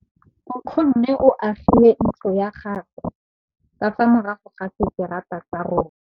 Nkgonne o agile ntlo ya gagwe ka fa morago ga seterata sa rona.